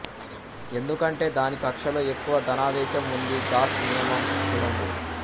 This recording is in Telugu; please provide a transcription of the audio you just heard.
ఎందుకంటే దాని కక్ష్యలో ఎక్కువ ధనావేశం ఉంది గాస్ నియమం చూడండి